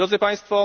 Drodzy Państwo!